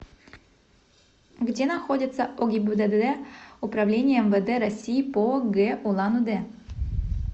где находится огибдд управления мвд россии по г улан удэ